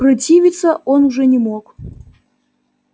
противиться он уже не мог